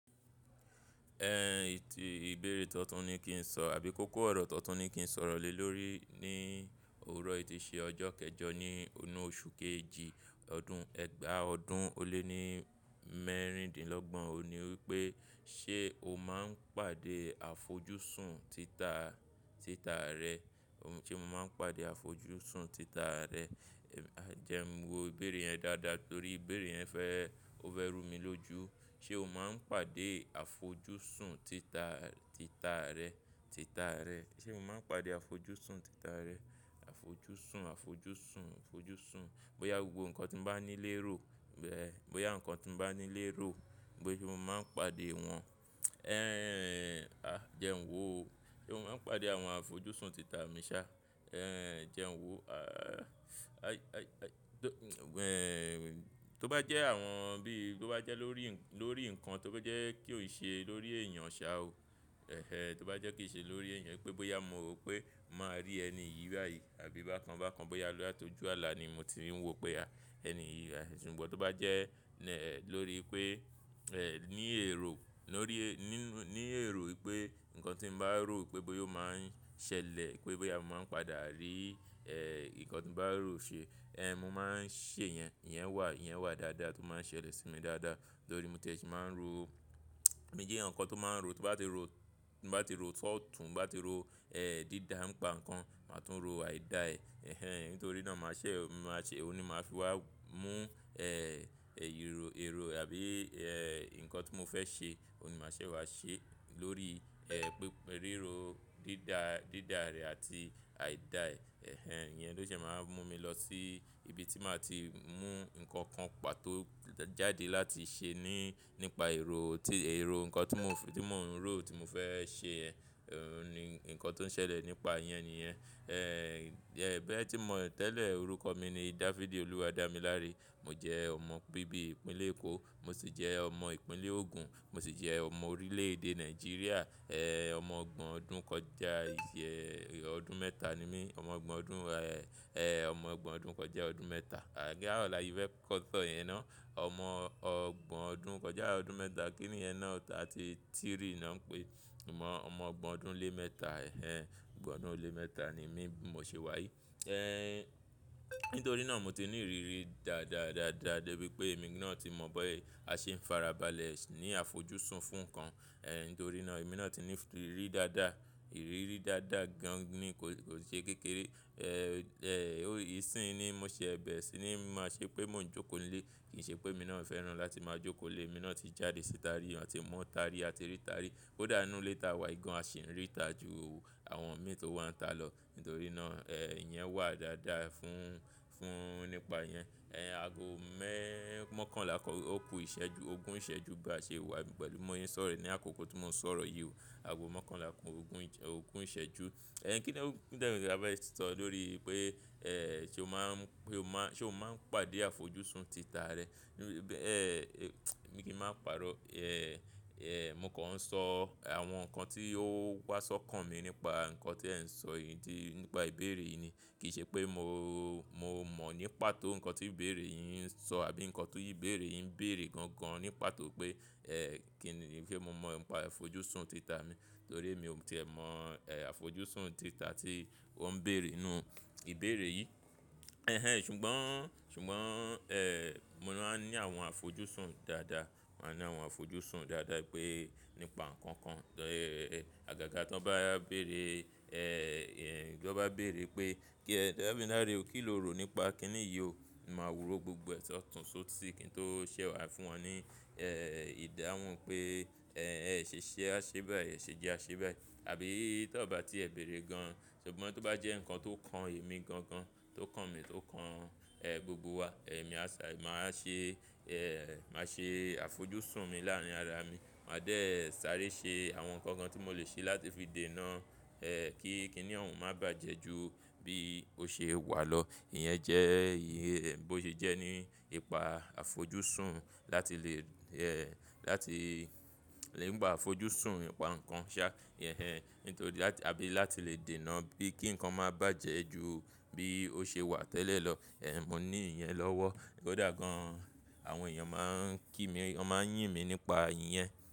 Ẹn, ètì ìbéèrè tan tún ni kí n sọ àbí kókó ọ̀rọ̀ tan tún ni kí n sọrọ̀ lẹ́ lórí níi òorọ́ yìí tii ṣe ọjọ́ kẹjọ ní inú oṣù kejì ọdún ẹgba ọdún ó lé ní mẹ́rìndínlọ́gbọ̀n, òun ni wípé ṣé o máa ń pàdé àfojúsùn títà a, títà a rẹ? Ṣé mo máa ń pàdé àfojúsùn títà rẹ? Jẹ́ n wo ìbéèrè yẹn dáadáa torí ìbéèrè yẹn fẹ́e, ó fẹ́ rú mi lójú. Ṣé o máa ń pàdé àfojúsùn títà, títà rẹ, títà rẹ? Ṣé mo máa ń pàdé àfojúsùn títà rẹ? Àfojúsùn, àfojúsùn, àfojúsùn. Bóyá gbogbo nǹkan tí m bá ní lé ro, bẹ́, bóyá nǹkan tí m bá ní lé ro, bóyá o máa ń pàdé wọn. Jẹ́ n wò o. Ṣé mo máa ń pàdé àwọn àfojúsùn títà mi sá? Jẹ́ n wò o. Tó bá jẹ́ àwọn bí tó bá jẹ́ lórí, lórí nǹkan tó bá jẹ́ kí ò n ṣe lórí èèyàn ṣá o. Ẹ̀hẹn, tó bá jẹ́ kí ì ṣe lórí èèyàn pé bóyá mo rò pé màá rí ẹni yìí báyìí àbí bákan bákan bóyá latójù àlà ni mo ti ń wo pé ẹni yìí. Ṣùgbọ́n tó bá jẹ́ lórí pé e, ní èrò, lórí ẹ-- nínú, ní èrò wipé nǹkan tí mbá rò pé bóyá o máa ń ṣẹlẹ̀ pé bóyá mo máa ń padà ríi, nǹkan tí mo bá rò ṣe, mo máa ń ṣe yẹn. Iyẹn wà, iyẹn wà dáadáa tó máa ń ṣẹlẹ̀ sí mi dáadáa torí mo tiẹ́ ṣì máa ń roo. Mi j'eyan kan tó máa ń ro, ti mbá ti ro, mbá ti ro s'ọ̀tún, mbá ti ro, dídá, ǹ pa nǹkan, màá tún ro àìda ẹ. Ẹ̀hẹn, nítorí náà màá ṣẹ̀, màá ṣẹ̀, òun ni màá fi wá mú, èyí rò, èrò àbí, nǹkan tí mo fẹ́ ṣe, òun ni màá ṣẹ̀ wá ṣe lóríi,, rírò dídá, dídá rẹ̀ àti àìda ẹ. Ẹ̀hẹn, iyẹn ló ṣẹ̀ máa wa mú mi lọ sí ibi tí màá ti mú nǹkan kan pàtó jáde láti ṣe ní, nípa èrò tí, èrò nǹkan tí mò ń fẹ́, tí mò ń rò tí mo fẹ́ ṣe yen, òun ni nǹkan tó ń ṣẹlẹ̀ nípa iyẹn nìyẹn. Bẹ́ẹ̀ tí mò tẹ́lẹ̀ orúkọ mi ni Dáfídì Olúwadámiláre. Mo jẹ́ ọmọ bíbí ìpínlẹ̀ Èkó, mo sì jẹ́ ọmọ ìpínlẹ̀ Ogun, mo sì jẹ́ ọmọ orílẹ̀ èdè Nàìjíríà. Ọmọ ọgbọ̀n ọdún kọjá, ìṣẹ́, ọdún mẹ́ta ni mí. Ọmọ ọgbọ̀n ọdún, ẹ́, ẹ́, ọmọ ọgbọ̀n ọdún kọjá ọdún mẹ́ta. Àga ọ̀la yìí fẹ́ kọ́ tọ̀ yẹn ná. Ọmọ ọgbọ̀n ọdún kọjá ọdún mẹ́ta kí ni yẹn ná thirty three na pe, ọmọ ọgbọ̀n ọdún lé mẹ́ta, ẹ̀hẹn, ọgbọ̀n ọdún lé mẹ́ta ni mí, bi mo ṣe wáyi. Nítorí náà mo ti ní ìrírí dáadáa dáadáa débi pé èmi náà ti mọ̀ bóyá a ṣe ń fara balẹ̀ ní àfojúsùn fún nǹkan. Nítorí náà èmi náà ti ní ìrírí dáadáa, ìrírí dáadáa gan ní kò, kò ṣe kékeré. Ó, ìsìn ni mo ṣe, bẹ̀re sì ni ma ṣe pé mò ń jókòó nílé. Kì í ṣe pé mi náà ò fẹ́ràn láti máa jókòó lé, èmi náà ti jáde síta rí, a ti mú ata rí, a ti ríta rí. Kódà inú ilé tá wà ìgan, a sì ń ríta jù àwọn mí tó wà ń ta lọ. Nítorí náà, ẹ́, iyẹn wà dáadáa fún, fún nípa iyẹn. Ago mẹ́ mokanla kan, òkú ìṣẹ́jú, ogún ìṣẹ́jú ba ṣe wà pẹ̀lú bimọ́ se n sọ̀rọ̀ yí ni àkókò tí mò ń sọ̀rọ̀ yìí o. Ago mọ́kànlá kan ogún ìṣẹ́, ògun ìṣẹ́jú. Ẹ̀hn kí ni ó, kí ni ẹ fẹ́ sọ lórí pé, ṣe o máa ń, pé o máa, ṣe o máa ń pàdé àfojúsùn títà rẹ? Ẹ́mi kì í máa pàrọ́. Mo kàn ń sọ àwọn nǹkan tí ó wá sọ kàn mi nípa nǹkan tí ẹ ń sọ yìí tí, nípa ìbéèrè yìí ni. Kì í ṣe pé mo, mo mọ̀ ní pató nǹkan tí ìbéèrè yìí ń sọ àbí nǹkan ti ìbéèrè yìí ń bèèrè gan gan ní pató pé, ẹ́, kí ni, kí ni se mo mọ̀ nípa àfojúsùn títà mi torí mi ò tíì ẹ mọ̀, àfojúsùn títà tí ó ń bèèrè nínú ìbéèrè yìí. Ẹ̀hẹn, ṣùgbọ́n, ṣùgbọ́n, ẹ́, mo máa ń ní àwọn àfojúsùn dáadáa. A ní àwọn àfojúsùn dáadáa pé nípa nǹkan kan. Àgàgà tí wọ́n bá, bá bèèrè, ìyẹn, tí wọ́n bá bèèrè pé kí Dámiláre o kí lo rò nípa kí ni yìí o, mo máa wúrọ̀ gbogbo ẹ̀ṣọ́ tún só tí kí n tó ṣẹ wá fún wọn ní, ìdáhùn pé, ẹ ṣè ṣe aṣé báyìí, ẹ ṣe jẹ aṣé báyìí. Àbí tí wọ́n bá ti ẹ̀ bèèrè gan, ṣùgbọ́n tó bá jẹ́ nǹkan tó kan èmi gan gan, tó kan mi, tó kan, gbogbo wa, èmi á sá, màá ṣe, ẹ́, màá ṣe àfojúsùn mi láàárín ara mi. Màá dé sáré ṣe àwọn nǹkan kan tí mò lè ṣe láti fi dènà, kí kí ni òun má bàjẹ́ ju bí ó ṣe wà lọ. Iyẹn jẹ́ ìyè, bí ó ṣe jẹ́ ní ipa àfojúsùn láti lè, láti lè ń gba àfojúsùn ipa nǹkan ṣá. Ẹ̀hẹn, nítorí láti, àbí láti lè dènà bí, kí nǹkan má bàjẹ́ ju bí ó ṣe wà tẹ́lẹ̀ lọ. Ẹ̀, mo ní iyẹn lọ́wọ́. Kódà gan, àwọn èèyàn máa ń kí mi, wọ́n máa ń yín mi nípa iyẹn.